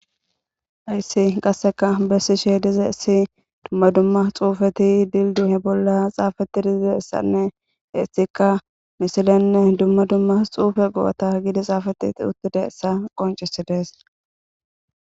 Ayssi qasseka bessi she dize issi dumma dumma xuufeti dilduhe bolla xaafetti dizidessanne eissikka misilenne dumma dumma xuufe go'ota gidi xaafati uttida essa qoncisi dees